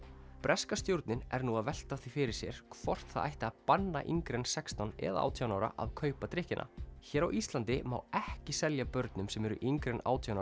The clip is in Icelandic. breska stjórnin er nú að velta því fyrir sér hvort það ætti að banna yngri en sextán eða átján ára að kaupa drykkina hér á Íslandi má ekki selja börnum sem eru yngri en átján